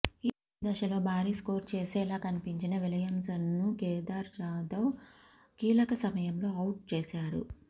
ఈ దశలో భారీ స్కోరు చేసేలా కనిపించిన విలియమ్సన్ను కేదార్ జాదవ్ కీలక సమయంలో ఔట్ చేశాడు